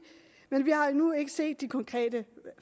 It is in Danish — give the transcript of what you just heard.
men vi har endnu ikke set de konkrete